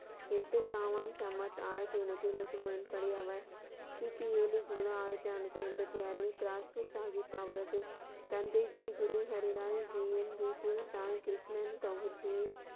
எட்டு சாமான் சம்பத் ஆயிரத்தி என்னூதி இருபத்தி மூணு படி அவர் கி. பி ஏழு ஜீரோ ஆயிரத்தி நானூத்தி அம்பத்தி ஆறில் ஷாஹித் அவரது தந்தை ஜி. குரு ஹரி ராய் ஜி யின் வீட்டில் தாய் கிருஷ்ணன் கவுர்ஜியின்,